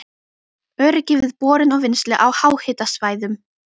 Öryggi við borun og vinnslu á háhitasvæðum